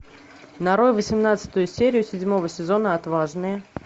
нарой восемнадцатую серию седьмого сезона отважные